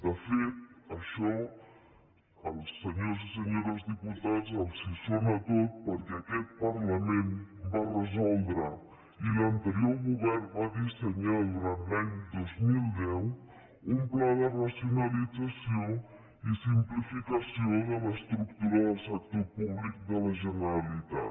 de fet això als senyors i senyores diputats els sona tot perquè aquest parlament va resoldre i l’anterior govern va dissenyar durant l’any dos mil deu un pla de racionalització i simplificació de l’estructura del sector públic de la generalitat